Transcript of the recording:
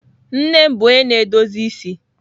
nne m bu onye na-edozi isi.